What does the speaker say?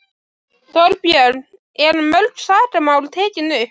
Þorbjörn: Eru mörg sakamál tekin upp?